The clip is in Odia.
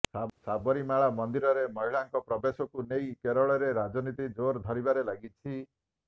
ସାବରୀମାଳା ମନ୍ଦିରରେ ମହିଳାଙ୍କ ପ୍ରବେଶକୁ ନେଇ କେରଳରେ ରାଜନୀତି ଜୋର ଧରିବାରେ ଲଗିଛି